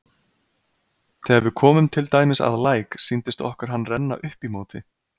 Þegar við komum til dæmis að læk sýndist okkur hann renna upp í móti.